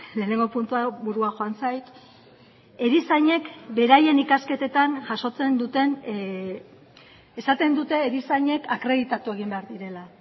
lehenengo puntu hau burua joan zait erizainek beraien ikasketetan jasotzen duten esaten dute erizainek akreditatu egin behar direla